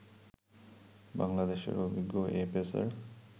বাংলাদেশের অভিজ্ঞ এ পেসার